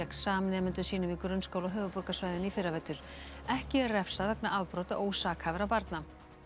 samnemendum sínum í grunnskóla á höfuðborgarsvæðinu í fyrravetur ekki er refsað vegna afbrota ósakhæfra barna